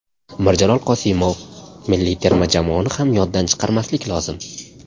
Mirjalol Qosimov: Milliy terma jamoani ham yoddan chiqarmaslik lozim.